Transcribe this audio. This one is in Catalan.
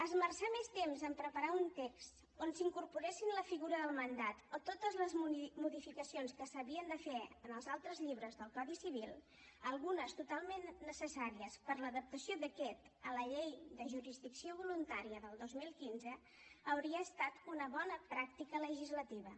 esmerçar més temps en preparar un text on s’incorporessin la figura del mandat o totes les modificacions que s’havien de fer en els altres llibres del codi civil algunes totalment necessàries per l’adaptació d’aquest a la llei de jurisdicció voluntària del dos mil quinze hauria estat una bona pràctica legislativa